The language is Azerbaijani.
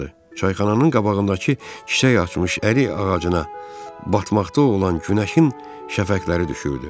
Çayxananın qabağındakı kiçik açmış ərik ağacına batmaqda olan günəşin şəfəqləri düşürdü.